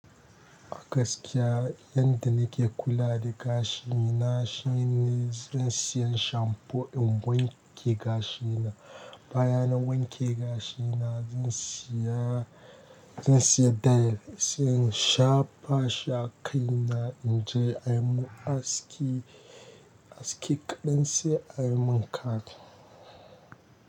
Gaskiya yanda nake kula da gashi na shine zan siya shampo in wanke gashi na. Baya na wanke gashina zan siya, zan siya dye, sai in shafa shi a kai na in je ayi mun aski, aski kaɗan sai ayi mun cut.